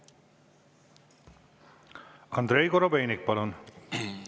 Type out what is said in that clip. Andrei Korobeinik, palun!